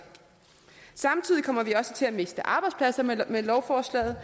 samtidig kommer vi også til at miste arbejdspladser med lovforslaget